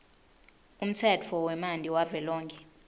umtsetfo wemanti wavelonkhe